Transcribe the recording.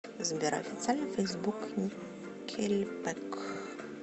сбер официальный фейсбук никельбэк